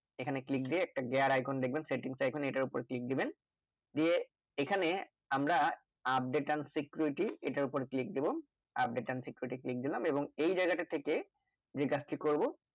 এখানে click দিয়ে একটা Gear icon দেখবেন Settings টা দেখুন কিন্তু এখন এটার উপরে click দেবেন দিয়ে এখানে আমরা Update and security এটার উপরে click দেব Update and security click দিলাম এবং এই জায়গাটা থেকে যে কাজটি করব